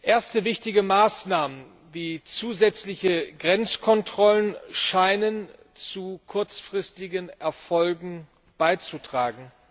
Erste wichtige Maßnahmen, wie zusätzliche Grenzkontrollen, scheinen zu kurzfristigen Erfolgen beizutragen.